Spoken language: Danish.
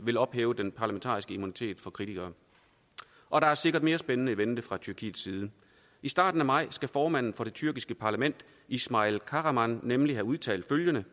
ville ophæve den parlamentariske immunitet for kritikere og der er sikkert mere spændende i vente fra tyrkiets side i starten af maj skal formanden for det tyrkiske parlament ismail kahraman nemlig have udtalt følgende